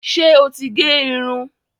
ṣe ọ tí gé Irun?